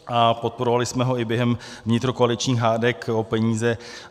A podporovali jsme ho i během vnitrokoaličních hádek o peníze.